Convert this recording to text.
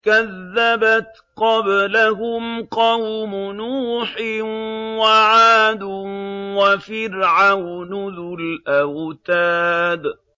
كَذَّبَتْ قَبْلَهُمْ قَوْمُ نُوحٍ وَعَادٌ وَفِرْعَوْنُ ذُو الْأَوْتَادِ